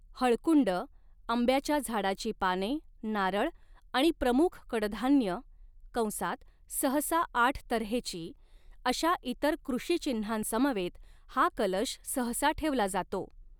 हळकुंड, आंब्याच्या झाडाची पाने, नारळ आणि प्रमुख कडधान्य कंसात सहसा आठ तऱ्हेची अशा इतर कृषीचिन्हांसमवेत हा कलश सहसा ठेवला जातो.